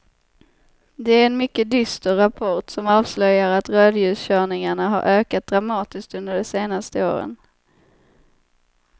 Det är en mycket dyster rapport som avslöjar att rödljuskörningarna har ökat dramatiskt under de senaste åren.